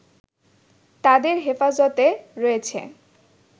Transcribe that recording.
তাদের হেফাজতে রয়েছে